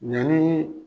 Yani